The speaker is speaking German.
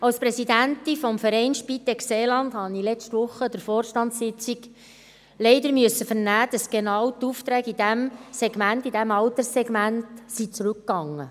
Als Präsidentin des Vereins Spitex Seeland habe ich letzte Woche an der Vorstandssitzung leider vernehmen müssen, dass die Aufträge genau in diesem Alterssegment zurückgehen.